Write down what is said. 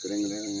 Kɛrɛnkɛrɛnnenya